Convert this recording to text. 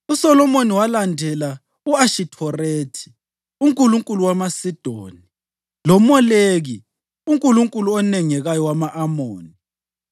USolomoni walandela u-Ashithorethi unkulunkulu wamaSidoni, loMoleki unkulunkulu onengekayo wama-Amoni.